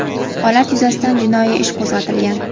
Holat yuzasidan jinoiy ish qo‘zg‘atilgan.